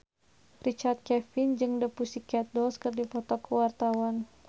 Richard Kevin jeung The Pussycat Dolls keur dipoto ku wartawan